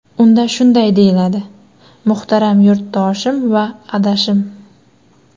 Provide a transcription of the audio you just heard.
Unda shunday deyiladi: Muhtaram yurtdoshim va adashim!